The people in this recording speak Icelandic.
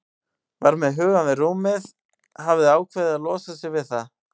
Var með hugann við rúmið, hafði ákveðið að losa sig við það.